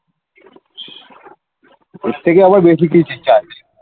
এর থেকে আবার বেশি কি চাই